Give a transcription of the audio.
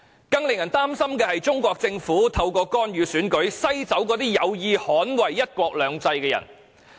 更令人擔心的是，中國政府透過干預選舉，篩走一些有意捍衞"一國兩制"的人。